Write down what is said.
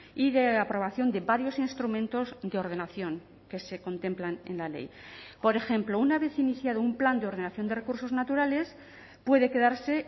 y de aprobación de varios instrumentos de ordenación que se contemplan en la ley por ejemplo una vez iniciado un plan de ordenación de recursos naturales puede quedarse